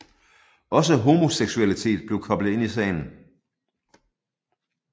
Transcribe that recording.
Også homoseksualitet blev koblet ind i sagen